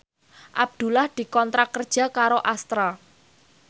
Abdullah dikontrak kerja karo Astra